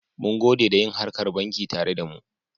Mungode da yin harkar banki tare da mu.